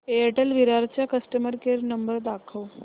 Airtel Virar चा customer care number दाखव